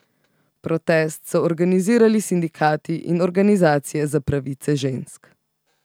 Protest so organizirali sindikati in organizacije za pravice žensk.